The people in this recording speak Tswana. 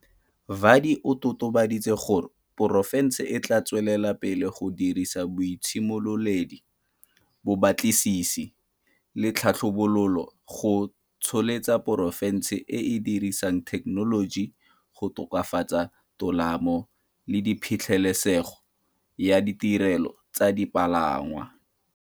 Vadi o totobaditse gore porofense e tla tswelela pele go dirisa boitshimololedi, bobatlisisi le tlhabololo go tsholetsa porofense e e dirisang thekenoloji go tokafatsa tolamo le phitlhelesego ya ditirelo tsa dipalangwa.